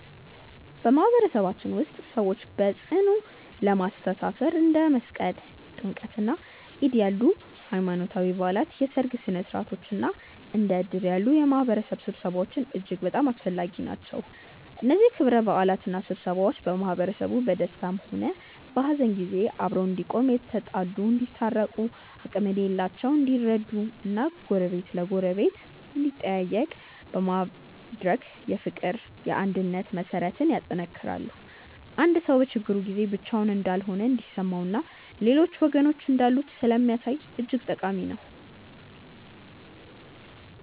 በማህበረሰባችን ውስጥ ሰዎችን በጽኑ ለማስተሳሰር እንደ መስቀል፣ ጥምቀትና ዒድ ያሉ ሃይማኖታዊ በዓላት፣ የሠርግ ሥነ ሥርዓቶች እና እንደ እድር ያሉ የማህበረሰብ ስብሰባዎች እጅግ በጣም አስፈላጊ ናቸው። እነዚህ ክብረ በዓላትና ስብሰባዎች ማህበረሰቡ በደስታም ሆነ በሐዘን ጊዜ አብሮ እንዲቆም፣ የተጣሉ እንዲታረቁ፣ አቅም የሌላቸው እንዲረዱ እና ጎረቤት ለጎረቤት እንዲጠያየቅ በማድረግ የፍቅርና የአንድነት መሠረትን ያጠነክራሉ። አንድ ሰው በችግሩ ጊዜ ብቻውን እንዳልሆነ እንዲሰማውና ሌሎች ወገኖች እንዳሉት ስለሚያሳይ እጅግ ጠቃሚ ናቸው።